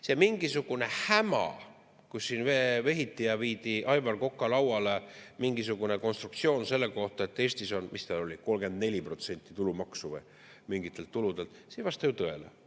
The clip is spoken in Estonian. See mingisugune häma – siin vehiti ja viidi Aivar Koka lauale mingisugune konstruktsioon selle kohta –, et Eestis on, mis ta oli, 34% tulumaksu mingitelt tuludelt, see ei vasta ju tõele.